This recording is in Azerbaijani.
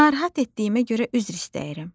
Narahat etdiyimə görə üzr istəyirəm,